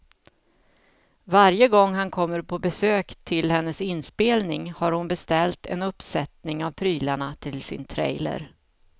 Varje gång han kommer på besök till hennes inspelning har hon beställt en uppsättning av prylarna till sin trailer.